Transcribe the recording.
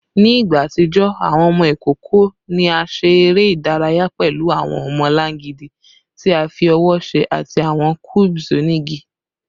Ni igba atijọ, awọn ọmọ ikoko ni a ṣe ere idaraya pẹlu awọn ọmọlangidi ti a fi ọwọ ṣe ati awọn cubes onigi